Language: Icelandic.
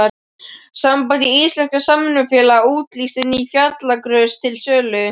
Samband íslenskra samvinnufélaga auglýsti ný fjallagrös til sölu.